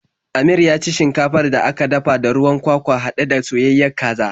Amir ya ci shinkafar da aka dafa da ruwan kwakwa haɗe da soyayayen kaza.